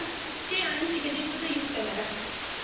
Fish आणि chicken चेच फक्त use करणार आहे.